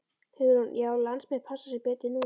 Hugrún: Já landsmenn passa sig betur núna?